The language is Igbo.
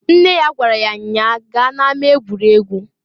Nne ya gwara ya nnya a, "Gaa na-ama egwuregwu!"